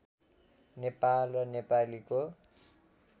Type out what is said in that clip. नेपाल र नेपालीको